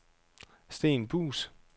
Sten Buus